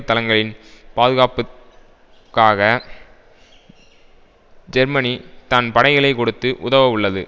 தளங்களின் பாதுகாப்புக்காக ஜெர்மனி தன் படைகளை கொடுத்து உதவ உள்ளது